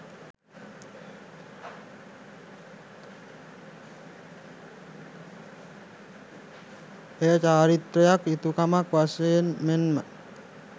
එය චාරිත්‍රයක්, යුතුකමක් වශයෙන් මෙන්ම